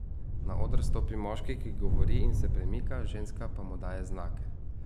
Na oder stopi moški, ki govori in se premika, ženska pa mu daje znake.